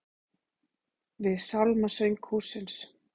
Við sálmasöng hússins.